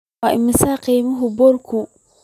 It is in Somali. Waa imisa qiimaha buulku?